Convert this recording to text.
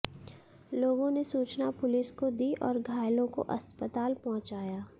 लोगों ने सूचना पुलिस को दी और घायलों को अस्पताल पहुंचाया